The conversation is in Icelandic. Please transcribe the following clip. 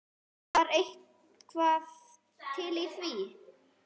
Var eitthvað til í því?